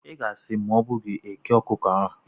Ị ga-esi ma ọ bụ ghee eke okuko ahu?